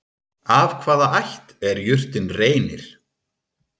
Af hvaða ætt er jurtin Reynir?